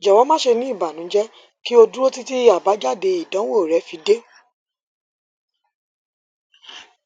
jọwọ ma ṣe ni ibanujẹ ki o duro titi abajade idanwo rẹ fi de